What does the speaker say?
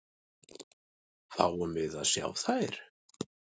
Fáum við að sjá þær?